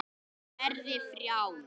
Verði frjáls.